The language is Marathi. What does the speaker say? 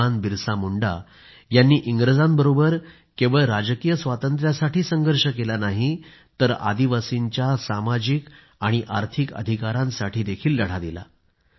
भगवान बिरसा मुंडा यांनी इंग्रजांबरोबर केवळ राजकीय स्वातंत्र्यासाठी संघर्ष केला नाही तर आदिवासींच्या सामाजिक आणि आर्थिक अधिकारांसाठीही लढा दिला